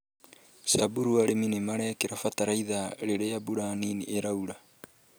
Samburu arĩmĩ nĩmarekĩra bataraitha rĩrĩa mbura nini ĩraura